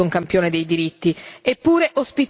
un campione dei diritti, eppure ospiterà